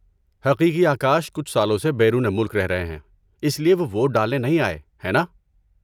حقیقی آکاش کچھ سالوں سے بیرون ملک رہ رہے ہیں، اس لیے وہ ووٹ ڈالنے نہیں آئے، ہے نا؟